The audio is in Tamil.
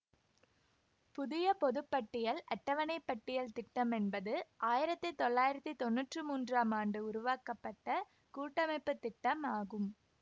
புதிய பொது பட்டியல் அட்டவனைப் பட்டியல் திட்டம் என்பது ஆயிரத்தி தொள்ளாயிரத்தி தொன்னூற்று மூன்றாம் ஆண்டு உருவாக்கப்பட்ட கூட்டமைப்பு திட்டம் ஆகும்